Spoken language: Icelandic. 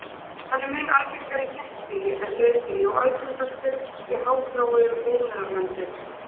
Hann er mun algengari í þéttbýli en dreifbýli og algengastur í háþróuðum iðnaðarlöndum.